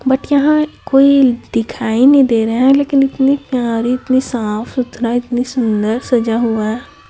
But यहां कोई दिखाई नहीं दे रहा है लेकिन इतनी प्यारी इतनी साफ-सुथरा इतनी सुंदर सजा हुआ है।